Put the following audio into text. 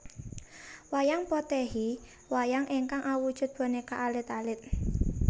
Wayang Potèhi Wayang ingkang awujud bonéka alit alit